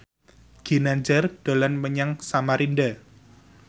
Ginanjar dolan menyang Samarinda